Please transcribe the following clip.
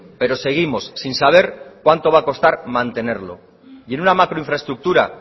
pero seguimos sin saber cuánto va a costar mantenerlo y en una macro infraestructura